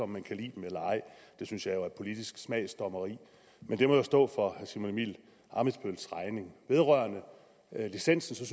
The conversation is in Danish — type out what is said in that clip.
man kan lide dem eller ej det synes jeg jo er politisk smagsdommeri men det må stå for herre simon emil ammitzbølls regning vedrørende licensen